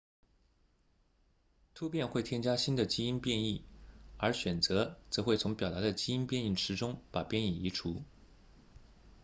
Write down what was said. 突变会添加新的基因变异而选择则会从表达的基因变异池中把变异移除